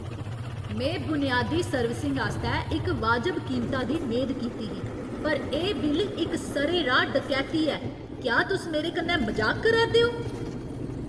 में बुनयादी सर्विसिंग आस्तै इक वाजब कीमता दी मेद कीती ही, पर एह् बिल इक सरेराह् डकैती ऐ! क्या तुस मेरे कन्नै मजाक करा'रदे ओ?